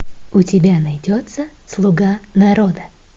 у тебя найдется слуга народа